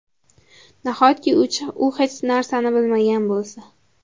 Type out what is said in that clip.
Nahotki u hech narsani bilmagan bo‘lsa?